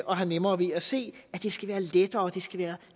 og har nemmere ved at se at det skal være lettere det skal være